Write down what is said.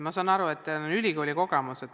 Ma saan aru, et teil on ülikoolikogemus.